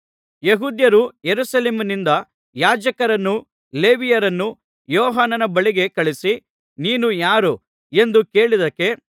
ಯೆಹೂದ್ಯರು ಯೆರೂಸಲೇಮಿನಿಂದ ಯಾಜಕರನ್ನೂ ಲೇವಿಯರನ್ನೂ ಯೋಹಾನನ ಬಳಿಗೆ ಕಳುಹಿಸಿ ನೀನು ಯಾರು ಎಂದು ಕೇಳಿದ್ದಕ್ಕೆ